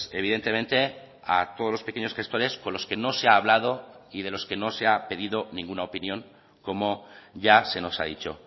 evidentemente a todos los pequeños gestores con los que no se ha hablado y de los que no se ha pedido ninguna opinión como ya se nos ha dicho